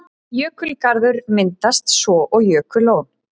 Jökulgarður myndast svo og jökullón.